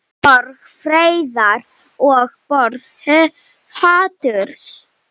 Borg friðar og borg haturs.